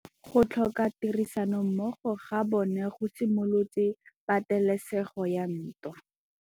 Go tlhoka tirsanommogo ga bone go simolotse patêlêsêgô ya ntwa.